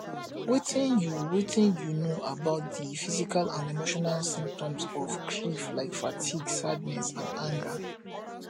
wetin you wetin you know about di physical and emotional symptoms of grief like fatigue sadness and anger